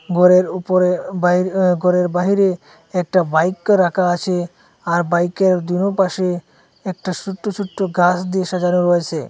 ঘরের উপরে বাইর ঘরের বাহিরে একটা বাইক রাখা আছে আর বাইকের দুনো পাশে একটা ছোট্ট ছোট্ট গাছ দিয়ে সাজানো রয়েছে।